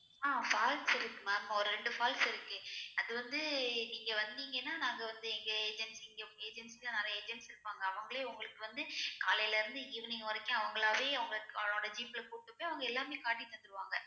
ஆஹ் falls இருக்கு ma'am ஒரு ரெண்டு falls இருக்கு அது வந்து நீங்க வந்திங்கன்னா நாங்க வந்து எங்க agents இங்க agents ல்லா நெறையா agents இருப்பாங்க அவங்களே ஒங்களுக்கு வந்து காலையில இருந்து evening வரைக்கும் அவங்களாவே அவங்க அவங்களோட jeep ல கூப்டு போயி அவங்க எல்லாமே காட்டி தந்துருவாங்க